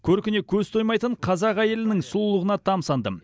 көркіне көз тоймайтын қазақ әйелінің сұлулығына тамсандым